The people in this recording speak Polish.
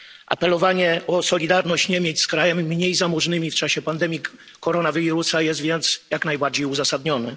Apelowanie o solidarność Niemiec z krajami mniej zamożnymi w czasie pandemii koronawirusa jest więc jak najbardziej uzasadnione.